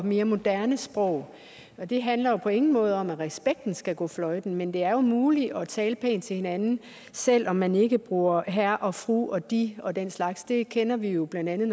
og mere moderne sprog det handler på ingen måde om at respekten skal gå fløjten men det er jo muligt at tale pænt til hinanden selv om man ikke bruger herre og fru og de og den slags det kender vi jo blandt andet